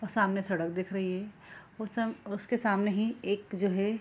और सामने सड़क दिख रही है और सम उसके सामने ही एक जो है --